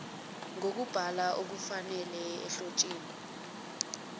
zokubhala ngokufanele ohlotsheni